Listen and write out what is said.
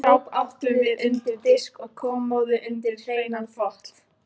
Skáp áttum við undir diska og kommóðu undir hreinan þvott.